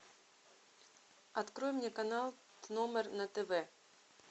открой мне канал тномер на тв